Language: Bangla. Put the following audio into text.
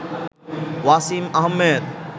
ওয়াসিম আহমেদ